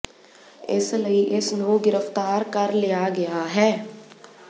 ਇਸ ਲਈ ਇਸ ਨੂੰ ਗ੍ਰਿਫ਼ਤਾਰ ਕਰ ਲਿਆ ਗਿਆ ਹੈ